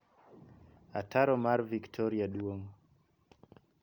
Ataro mar Victoria duong'.